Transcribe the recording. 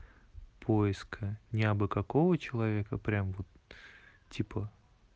поиск а я бы какого человека прямо типа